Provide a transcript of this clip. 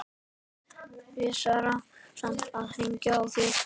Vissara samt að hringja áður.